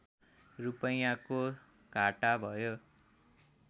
रूपैयाँको घाटा भयो